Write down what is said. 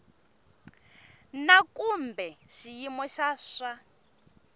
na kumbe xiyimo xa swa